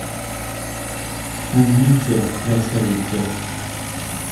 умница красавица